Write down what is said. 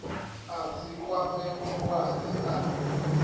a si kwame mulwadze a